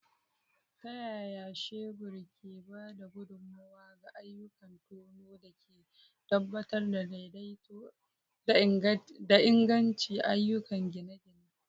Ta yaya shebur ke ba da gudummawa ga ayyukan tono da ke tabbatar da daidaito da inganci a ayyukan gine-gine?